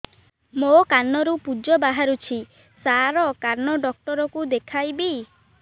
ମୋ କାନରୁ ପୁଜ ବାହାରୁଛି ସାର କାନ ଡକ୍ଟର କୁ ଦେଖାଇବି